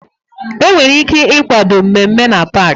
Enwere ike ịkwado mmemme na paaki.